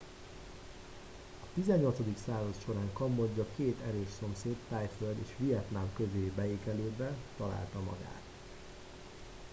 a 18. század során kambodzsa két erős szomszéd thaiföld és vietnám közé beékelődve találta magát